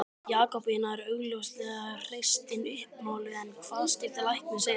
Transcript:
Jakobína er augljóslega hreystin uppmáluð en hvað skyldi læknir segja?